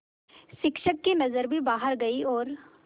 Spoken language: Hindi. शिक्षक की नज़र भी बाहर गई और